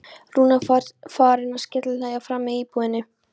Rúna farin að skellihlæja frammi í búðinni!